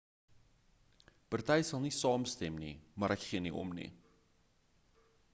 party sal nie saamstem nie maar ek gee nie om nie